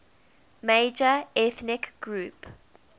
major ethnic group